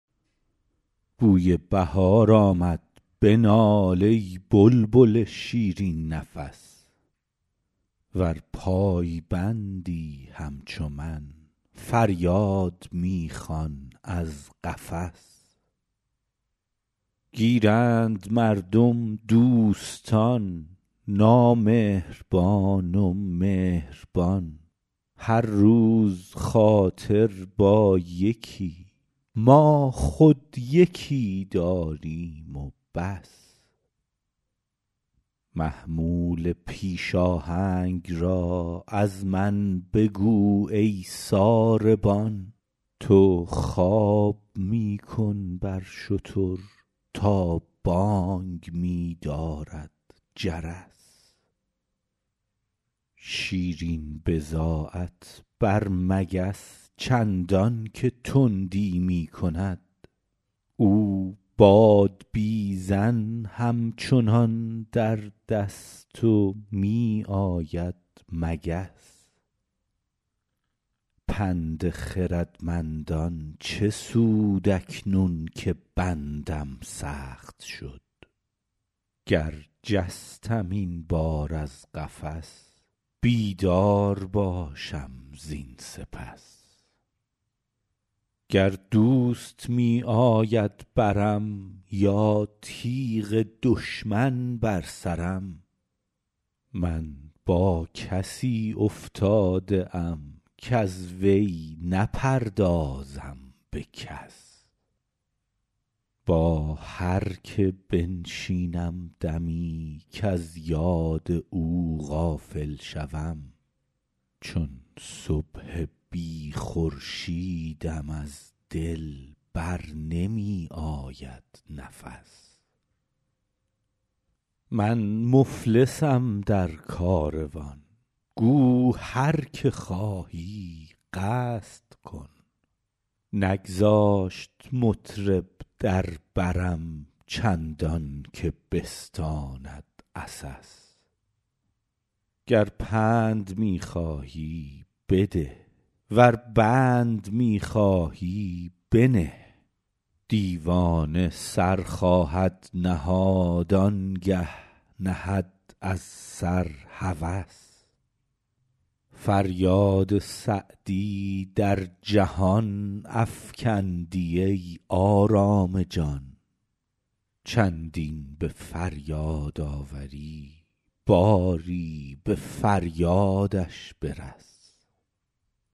بوی بهار آمد بنال ای بلبل شیرین نفس ور پایبندی همچو من فریاد می خوان از قفس گیرند مردم دوستان نامهربان و مهربان هر روز خاطر با یکی ما خود یکی داریم و بس محمول پیش آهنگ را از من بگو ای ساربان تو خواب می کن بر شتر تا بانگ می دارد جرس شیرین بضاعت بر مگس چندان که تندی می کند او بادبیزن همچنان در دست و می آید مگس پند خردمندان چه سود اکنون که بندم سخت شد گر جستم این بار از قفس بیدار باشم زین سپس گر دوست می آید برم یا تیغ دشمن بر سرم من با کسی افتاده ام کز وی نپردازم به کس با هر که بنشینم دمی کز یاد او غافل شوم چون صبح بی خورشیدم از دل بر نمی آید نفس من مفلسم در کاروان گو هر که خواهی قصد کن نگذاشت مطرب در برم چندان که بستاند عسس گر پند می خواهی بده ور بند می خواهی بنه دیوانه سر خواهد نهاد آن گه نهد از سر هوس فریاد سعدی در جهان افکندی ای آرام جان چندین به فریاد آوری باری به فریادش برس